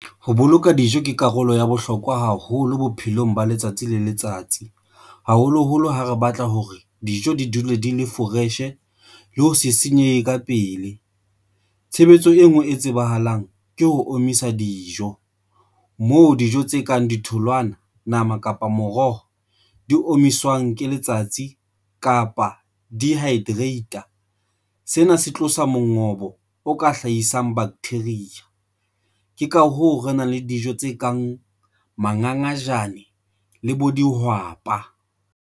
Ho boloka dijo ke karolo ya bohlokwa haholo bophelong ba letsatsi le letsatsi, haholoholo ha re batla hore dijo di dule di le fresh-e le ho se senyehe ka pele. Tshebetso e nngwe e tsebahalang ke ho omisa dijo, moo dijo tse kang ditholwana, nama kapa moroho di omiswang ke letsatsi kapa dehydrate-a sena se tloswa mongobo o ka hlahisang bacteria. Ke ka hoo re nang le dijo tse kang mangangajane le bo dihwapa.